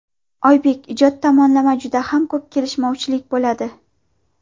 Oybek: Ijod tomonlama juda ham ko‘p kelishmovchilik bo‘ladi.